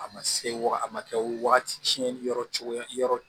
A ma se wa a ma kɛ wagati caman yɔrɔ cogo yɔrɔ